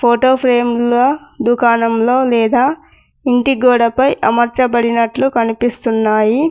Photo frame లో దుకాణంలో లేదా ఇంటి గోడ పై అమర్చబడినట్లు కనిపిస్తున్నాయి.